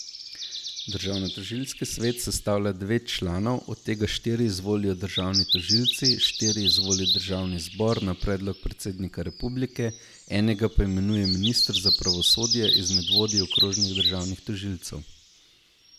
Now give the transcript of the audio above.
Državnotožilski svet sestavlja devet članov, od tega štiri izvolijo državni tožilci, štiri izvoli državni zbor na predlog predsednika republike, enega pa imenuje minister za pravosodje izmed vodij okrožnih državnih tožilstev.